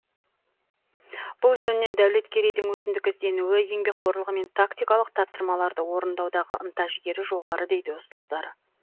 бұл жөнінен дәулеткерейдің өзіндік ізденуі еңбекқорлығы мен тактикалық тапсырмаларды орындаудағы ынта жігері жоғары дейді ұстаздары